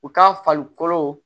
U ka farikolo